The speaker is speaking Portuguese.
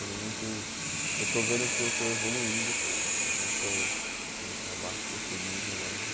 Tendo muito eu estou vendo que eu estou evoluindo, não estou indo para baixo, estou subindo né os